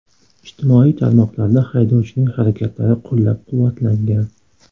Ijtimoiy tarmoqlarda haydovchining harakatlari qo‘llab-quvvatlangan.